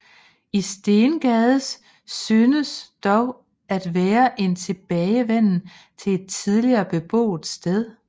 I Stengades synes dog at være en tilbagevenden til et tidligere beboet sted